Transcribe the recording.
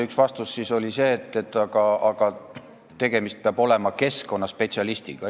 Üks vastus oli see, et aga tegemist peab olema keskkonnaspetsialistiga.